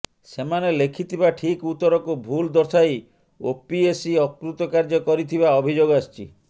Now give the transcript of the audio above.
ସେମାନେ ଲେଖିଥିବା ଠିକ୍ ଉତ୍ତରକୁ ଭୁଲ ଦର୍ଶାଇ ଓପିଏସ୍ସି ଅକୃତକାର୍ଯ୍ୟ କରିଥିବା ଅଭିଯୋଗ ଆସିଛି